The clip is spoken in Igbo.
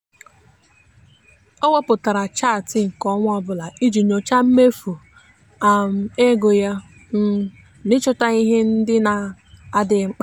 o wepụtara chaatị nke ọnwa ọbụla iji nyochaa mmefu um ego ya um na ịchọta ihe ndị na-adịghị mkpa.